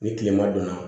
Ni kilema donna